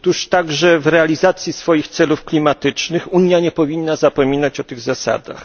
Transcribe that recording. Także w realizacji swoich celów klimatycznych Unia nie powinna zapominać o tych zasadach.